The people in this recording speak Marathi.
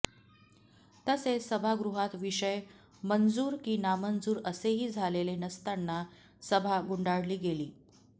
तसेच सभागृहात विषय मंजूर की नामंजूर असेही झालेले नसताना सभा गुंडाळली गेली